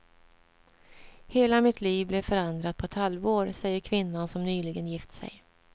Hela mitt liv blev förändrat på ett halvår, säger kvinnan som nyligen gift sig.